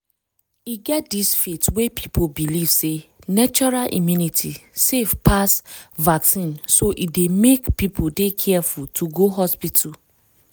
e get dis faith wey people believe sey natural immunity safe pass vaccine so e dey make people dey careful to go hospital.